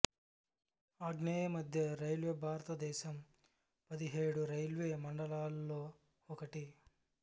ఆగ్నేయ మధ్య రైల్వే భారతదేశం పదిహేడు రైల్వే మండలాలులో ఒకటి